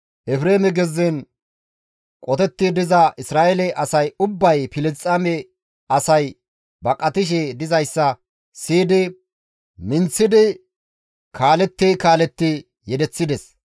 Efreeme gezzen qotetti diza Isra7eele asay ubbay Filisxeeme asay baqatishe dizayssa siyidi minththidi kaaletti kaaletti yedeththides.